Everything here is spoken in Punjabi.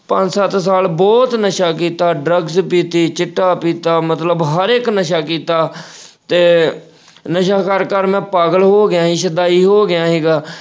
ਪੰਜ ਸੱਤ ਸਾਲ ਬਹੁਤ ਨਸ਼ਾ ਕੀਤਾ drugs ਪੀਤੀ, ਚਿੱਟਾ ਪੀਤਾ ਮਤਲਬ ਹਰ ਇੱਕ ਨਸ਼ਾ ਕੀਤਾ, ਤੇ ਨਸ਼ਾ ਕਰ-ਕਰ ਮੈਂ ਪਾਗਲ ਹੋਗਿਆ ਈ, ਸ਼ੁਦਾਈ ਹੋਗਿਆ ਈ ਸੀਗਾ।